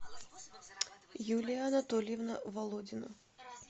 юлия анатольевна володина